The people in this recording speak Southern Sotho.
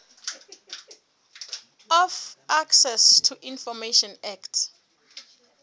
of access to information act